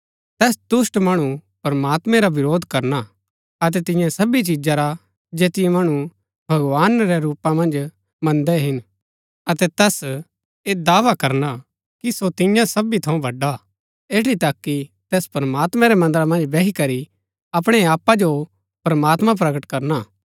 तैस दुष्‍ट मणु प्रमात्मैं रा विरोध करना अतै तिन्या सबी चिजा रा जैतिओ मणु भगवान रै रूपा मन्ज मन्दै हिन अतै तैस ऐह दावा करना कि सो तिन्या सबी थऊँ बड़ा हा ऐठी तक कि तैस प्रमात्मैं रै मन्दरा मन्ज बैही करी अपणै आपा जो प्रमात्मां प्रकट करना